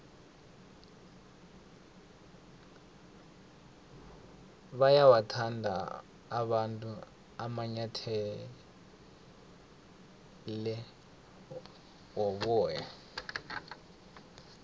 bayawathanda abantu amanyathele woboya